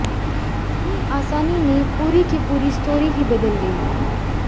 कितनी आसानी ने पूरी की पूरी स्टोरी ही बदल गई